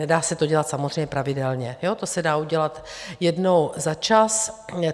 Nedá se to dělat samozřejmě pravidelně, to se dá udělat jednou za čas.